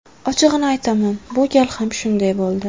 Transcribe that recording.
Ochig‘ini aytaman, bu gal ham shunday bo‘ldi.